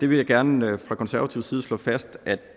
vil gerne fra konservativ side slå fast at